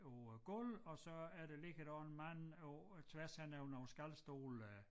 På æ gulv og så er der ligger der også en mand på tværs henover nogle skalstole øh